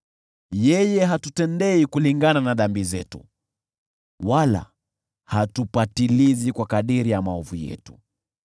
yeye hatutendei kulingana na dhambi zetu wala hatupatilizi kwa kadiri ya maovu yetu.